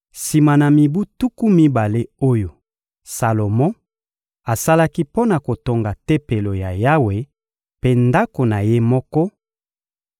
Sima na mibu tuku mibale oyo Salomo asalaki mpo na kotonga Tempelo ya Yawe mpe ndako na ye moko,